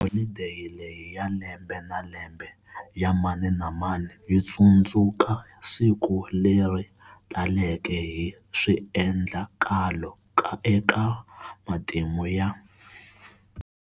Holideyi leyi ya lembe na lembe ya mani na mani yi tsundzuka siku leri taleke hi swiendlakalo eka matimu ya.